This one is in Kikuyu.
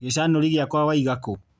Gĩcanũri gĩakwa waiga kũ?